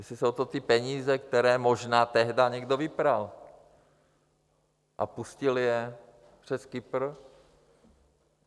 Jestli jsou to ty peníze, které možná tehdy někdo vypral a pustil je přes Kypr.